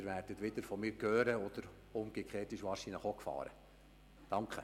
Sie werden von mir hören und umgekehrt – das ist wahrscheinlich auch die Gefahr – ich von Ihnen.